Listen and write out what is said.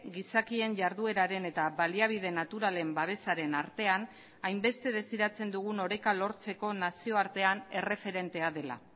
gizakien jardueraren eta baliabide naturalen babesaren artean hainbeste desiratzen dugun oreka lortzeko nazioartean erreferentea dela